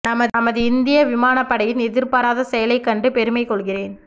நமது இந்திய விமானப் படையின் எதிர்பாராத செயலை கண்டு பெருமைக் கொள்கிறேன்